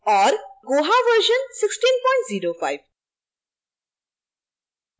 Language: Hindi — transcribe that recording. और koha version 1605